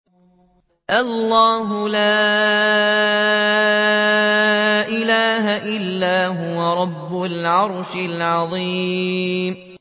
اللَّهُ لَا إِلَٰهَ إِلَّا هُوَ رَبُّ الْعَرْشِ الْعَظِيمِ ۩